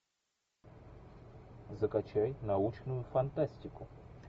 закачай научную фантастику